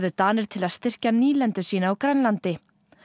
Danir til að styrkja nýlendu sína á Grænlandi